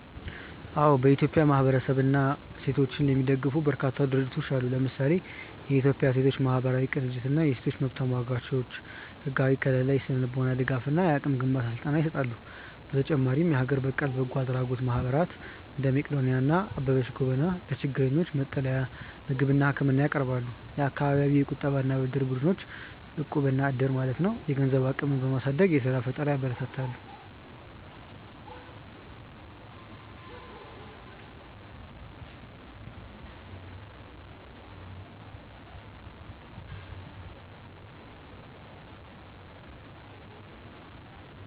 አዎ፥ በኢትዮጵያ ማህበረሰብንና ሴቶችን የሚደግፉ በርካታ ድርጅቶች አሉ። ለምሳሌ፦ የኢትዮጵያ ሴቶች ማህበራት ቅንጅት እና የሴቶች መብት ተሟጋቾች፦ ህጋዊ ከልላ፣ የስነ-ልቦና ድጋፍ እና የአቅም ግንባታ ስልጠና ይሰጣሉ። በተጨማሪም የሀገር በቀል በጎ አድራጎት ማህበራት (እንደ መቅዶንያ እና አበበች ጎበና) ለችግረኞች መጠለያ፣ ምግብና ህክምና ያቀርባሉ። የአካባቢ የቁጠባና ብድር ቡድኖች (እቁብ/ዕድር)፦ የገንዘብ አቅምን በማሳደግ የስራ ፈጠራን ያበረታታሉ።